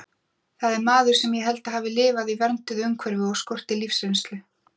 Það er maður sem ég held að hafi lifað í vernduðu umhverfi og skorti lífsreynslu.